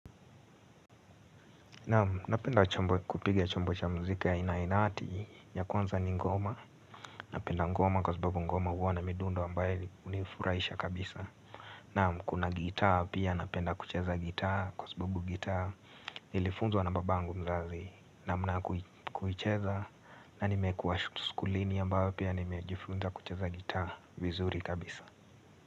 Naam, napenda kupiga chombo cha mziki aina ya ''inati'' ya kwanza ni ngoma. Napenda ngoma kwa sababu ngoma huwa na midundo ambayo hunifuraisha kabisa. Naam, kuna gitaa pia napenda kucheza gitaa kwa sababu gitaa. Nilifunzwa na babangu mzazi namna ya kuicheza na nimekuwa skulini ambayo pia nimejifunza kucheza gitaa vizuri kabisa.